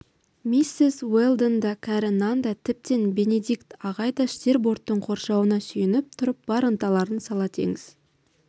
миссис уэлдон да кәрі нан да тіптен бенедикт ағай да штирборттың қоршауына сүйеніп тұрып бар ынталарын сала теңіз